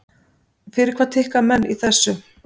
Fyrir hvað tikka menn í þessu?